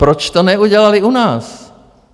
Proč to neudělali u nás?